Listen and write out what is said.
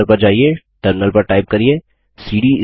home folder पर जाइये terminal पर टाइप करिये